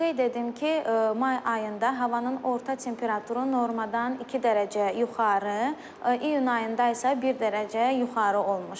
Qeyd edim ki, may ayında havanın orta temperaturu normadan 2 dərəcə yuxarı, iyun ayında isə 1 dərəcə yuxarı olmuşdur.